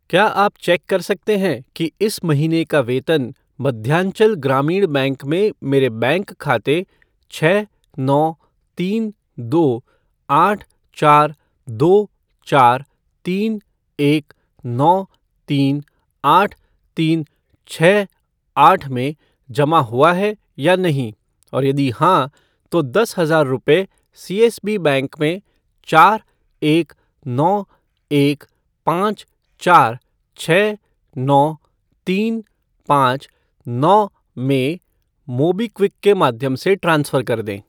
क्या आप चेक कर सकते हैं कि इस महीने का वेतन मध्यांचल ग्रामीण बैंक में मेरे बैंक खाते छः नौ तीन दो आठ चार दो चार तीन एक नौ तीन आठ तीन छः आठ में जमा हुआ है या नहीं और यदि हां, तो दस हजार रुपये सीएसबी बैंक में चार एक नौ एक पाँच चार छः नौ तीन पाँच नौ में मोबीक्विक के माध्यम से ट्रांसफ़र कर दें।